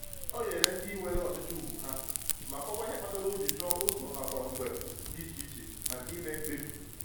O nyere ndị nwere ọchịchị ugwu ha, ma kọwaa ihe kpatara o ji chọọ ụzọ nakwa mbge dị iche maka ime mkpebi.